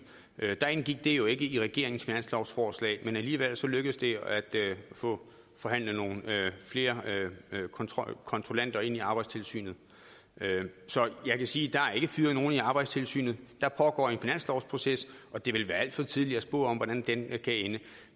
indgik det jo ikke i regeringens finanslovforslag men alligevel lykkedes det at få forhandlet nogle flere kontrollanter ind i arbejdstilsynet så jeg kan sige der er ikke fyret nogen i arbejdstilsynet der pågår en finanslovsproces og det vil være alt for tidligt at spå om hvordan den kan ende